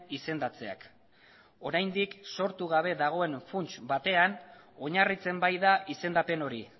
izendatzeak oraindik sortu gabe dagoen funts batean oinarritzen baita izendapen hori